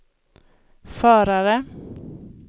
förare